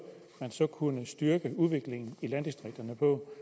man så kunne styrke udviklingen i landdistrikterne på